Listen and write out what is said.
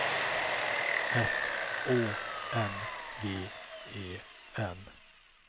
F Å N G E N